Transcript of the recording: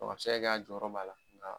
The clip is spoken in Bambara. A bi se ka kɛ a jɔyɔrɔ b'a la.